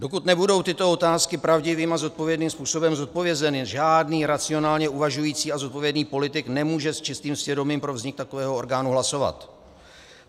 Dokud nebudou tyto otázky pravdivým a zodpovědným způsobem zodpovězeny, žádný racionálně uvažující a zodpovědný politik nemůže s čistým svědomím pro vznik takového orgánu hlasovat.